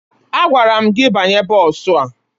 Agwara m gị banye bọọsụ a!